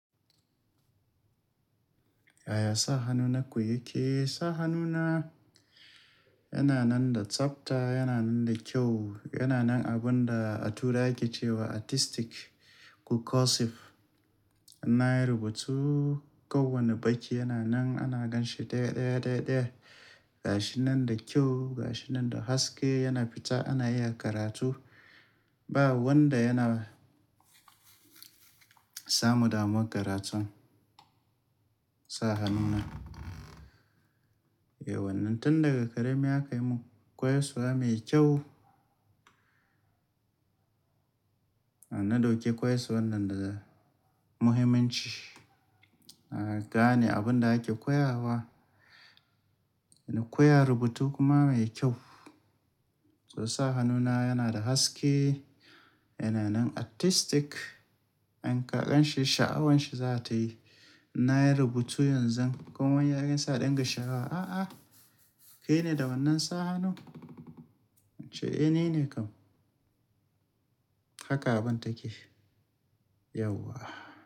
Yaya sa hannuna na koyi kis Sa hannuna yana nan da tsabta, yana nan da kyau. Yana nan abun da a tura yake cewa artistic ko cursive. Inayi rubutu kowane baki yana nan ana gan shi daya daya daya daya. Ga shi nan da kyau, ga shi nan da haske, yana fita ana iya karatu. Ba wanda yana samu damuwar karatu sa hannuna. Eh wannan tun daga ƙarami aka yi mun koyarsuwa mai kyau. Na dauki koyarsu wannan da muhimmanci. Na gane abun da ake koya wa. Na koya rubutu kuma mai kyau. To sa hannuna yana da haske, yana nan artistic. In ka gan shi, sha'awanshi za ta yi. Nayi rubutu yanzu. Kowa in ya gansa sai a ɗinga shawa, a a kai ne da wannan sa hannu? In ce eh ni ne kam. Haka abun take. Yauwa.